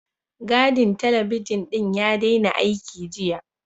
Gadin talabijin ɗin ya daina aiki, jiya.